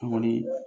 An kɔni